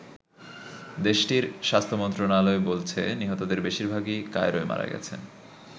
দেশটির স্বাস্থ্য মন্ত্রণালয় বলছে, নিহতদের বেশিরভাগই কায়রোয় মারা গেছে।